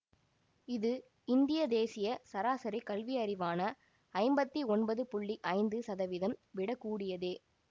இது இந்திய தேசிய சராசரி கல்வியறிவான ஐம்பத்தி ஒன்பது புள்ளி ஐந்து சதவீதம் விட கூடியதே